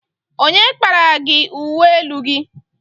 Onye kparara gị uwe elu gị?